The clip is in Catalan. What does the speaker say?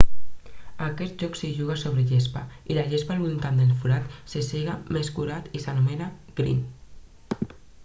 a aquest joc s'hi juga sobre gespa i la gespa al voltant del forat se sega més curta i s'anomena green